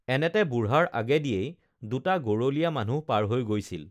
এনেতে বুঢ়াৰ আগেদিয়েই দুটা গৰলীয়া মানুহ পাৰ হৈ গৈছিল